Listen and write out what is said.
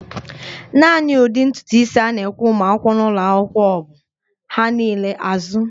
Naani ụdị ntutu isi a na-ekwe ụmụakwụkwọ n'ụlọakwụkwọ m bụ "ha niile azụ